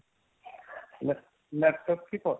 lap~ laptop কে করা